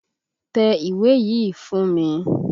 Tẹ ìwé yìí fún mi!